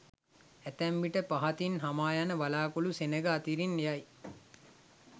ඇතැම් විට පහතින් හමායන වලාකුළු සෙනඟ අතරින් යයි.